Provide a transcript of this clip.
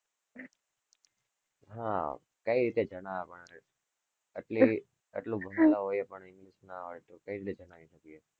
હા કઈ રીતે જાણવા માં આવે એટલે એટલું ભણેલા હોય ને કઈ રીતે જણાઈ શકીએ.